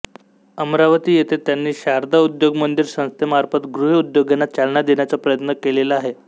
अमरावती येथे त्यांनी शारदा उद्योग मंदिर संस्थेमार्फत गृह उद्योगांना चालना देण्याचा प्रयत्न केलेला आहे